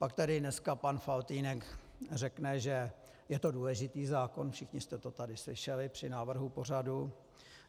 Pak tady dneska pan Faltýnek řekne, že je to důležitý zákon, všichni jste to tady slyšeli při návrhu pořadu.